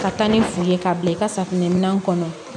Ka taa ni foli ye k'a bila i ka safunɛminɛnw kɔnɔ